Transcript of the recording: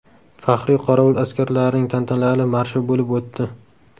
Faxriy qorovul askarlarining tantanali marshi bo‘lib o‘tdi.